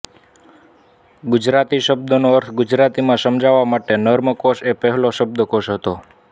ગુજરાતી શબ્દોનો અર્થ ગુજરાતીમાં સમજાવવા માટે નર્મકોશ એ પહેલો શબ્દકોશ હતો